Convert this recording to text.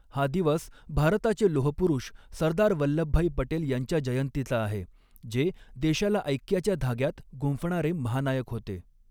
हा दिवस भारताचे लोहपुरुष सरदार वल्लभभाई पटेल यांच्या जयंतीचा आहे जे देशाला ऐक्याच्या धाग्यात गुंफणारे महानायक होते.